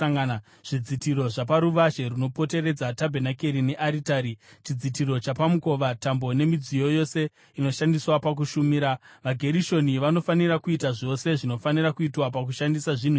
zvidzitiro zvaparuvazhe runopoteredza tabhenakeri nearitari, chidzitiro chapamukova, tambo nemidziyo yose inoshandiswa pakushumira. VaGerishoni vanofanira kuita zvose zvinofanira kuitwa pakushandisa zvinhu izvi.